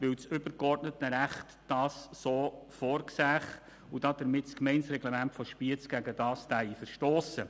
Das übergeordnete Recht sehe das so vor, und das Gemeindereglement von Spiez würde dagegen verstossen.